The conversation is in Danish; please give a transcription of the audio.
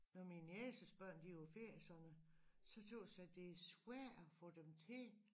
Når min nieces børn de på ferie og sådan noget så tøs jeg det svært at få dem til